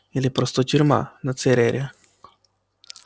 или просто тюрьма на церере